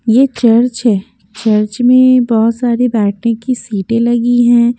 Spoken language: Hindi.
ये चर्च है चर्च में बहुत सारी बैठने की सीटें लगी हैं।